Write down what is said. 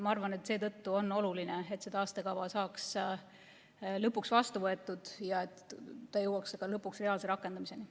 Ma arvan, et seetõttu on oluline, et see taastekava saaks lõpuks vastu võetud ja jõuaks ka reaalse rakendamiseni.